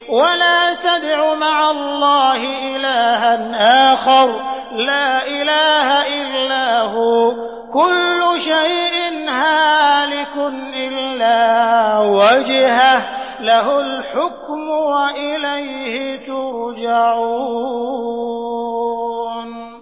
وَلَا تَدْعُ مَعَ اللَّهِ إِلَٰهًا آخَرَ ۘ لَا إِلَٰهَ إِلَّا هُوَ ۚ كُلُّ شَيْءٍ هَالِكٌ إِلَّا وَجْهَهُ ۚ لَهُ الْحُكْمُ وَإِلَيْهِ تُرْجَعُونَ